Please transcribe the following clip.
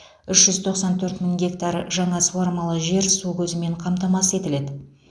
үш жүз тоқсан төрт мың гектар жаңа суармалы жер су көзімен қамтамасыз етіледі